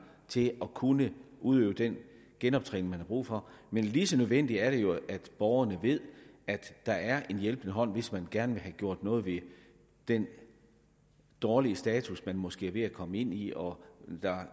til at kunne udøve den genoptræning man har brug for men lige så nødvendigt er det jo at borgerne ved at der er en hjælpende hånd hvis man gerne vil have gjort noget ved den dårlige status man måske er ved at komme ind i og hvor